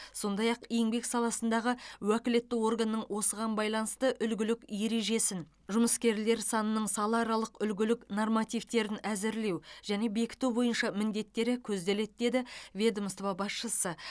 сондай ақ еңбек саласындағы уәкілетті органның осыған байланысты үлгілік ережесін жұмыскерлер санының салааралық үлгілік нормативтерін әзірлеу мен бекіту бойынша міндеттері көзделеді деді ведомство басшысы